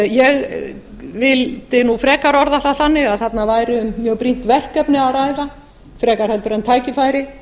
ég vil frekar orða það þannig að þarna væri um mjög brýnt verkefni að ræða frekar en tækifæri